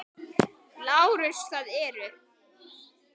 LÁRUS: Það eru.